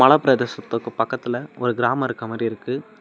மலப்பிரதேசத்துக்கு பக்கத்துல ஒரு கிராமம் இருக்க மாறி இருக்கு.